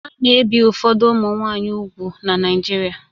A na-ebi ụfọdụ ụmụ nwanyị úgwù na Naijiria